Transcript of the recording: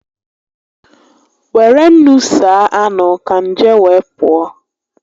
Were ńnú saa anụ ka nje wee pụọ